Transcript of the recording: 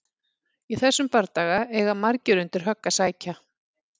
Í þessum bardaga eiga margir undir högg að sækja!